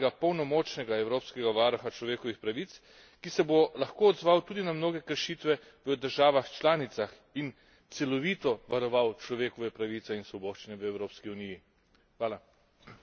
Potrebujemo pravega polnomočnega Evropskega varuha človekovih pravic, ki se bo lahko odzval tudi na mnoge kršitve v državah članicah in celovito varoval človekove pravice in svoboščine v Evropski uniji.